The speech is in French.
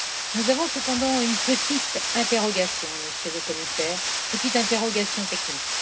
Nous avons cependant une petite interrogation, Monsieur le Commissaire, petite interrogation technique.